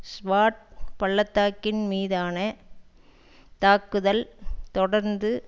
ஸ்வாட் பள்ளத்தாக்கின் மீதான தாக்குதல் தொடர்ந்து